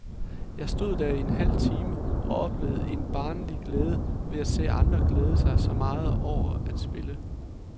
Jeg stod der i en halv time, og oplevede en barnlig glæde ved at se andre glæde sig så meget over at spille.